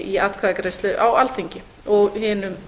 í atkvæðagreiðslu á alþingi og hinum